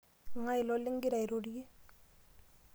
Ng'ae ilo ligira airorie?